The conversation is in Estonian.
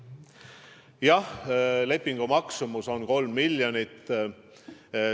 Jah, lepingu maksumus on 3 miljonit.